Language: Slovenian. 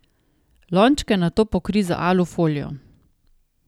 Lončke nato pokrij z alu folijo.